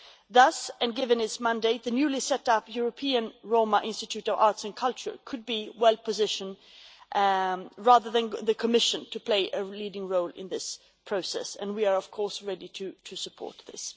Thus, and given its mandate, the newly set-up European Roma Institute of Arts and Culture could be well positioned, rather than the Commission playing a leading role in this process, and we are of course ready to support this.